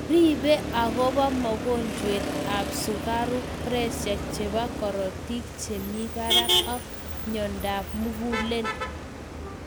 Riibe agobaa mogonjwet ab sukaruk pressure chebaa korotik chemii baraak ak monyadap mugulel